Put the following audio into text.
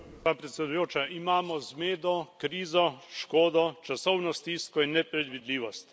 Gospa predsedujoča, imamo zmedo, krizo, škodo, časovno stisko in nepredvidljivost.